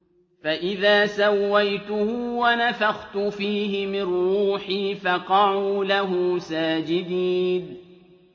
فَإِذَا سَوَّيْتُهُ وَنَفَخْتُ فِيهِ مِن رُّوحِي فَقَعُوا لَهُ سَاجِدِينَ